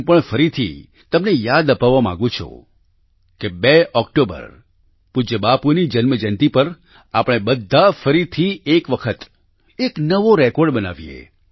હું પણ ફરીથી તમને યાદ અપાવવા માગું છું કે 2 ઓક્ટોબર પૂજ્ય બાપૂની જન્મજયંતિ પર આપણે બધા ફરીથી એક વખત એક નવો રેકોર્ડ બનાવીએ